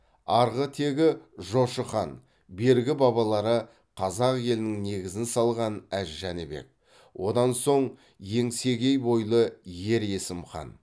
арғы тегі жошы хан бергі бабалары қазақ елінің негізін салған әз жәнібек одан соң еңсегей бойлы ер есім хан